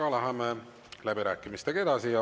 Aga läheme läbirääkimistega edasi.